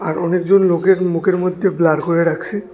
আর অনেকজন লোকের মুখের মধ্যে ব্লার করে রাখসে।